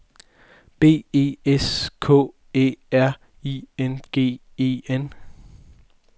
B E S K Æ R I N G E N